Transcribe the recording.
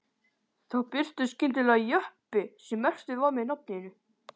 Þá birtist skyndilega jeppi sem merktur var með nafninu